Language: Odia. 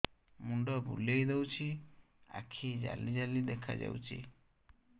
ମୁଣ୍ଡ ବୁଲେଇ ଦଉଚି ଆଖି ଜାଲି ଜାଲି ଦେଖା ଯାଉଚି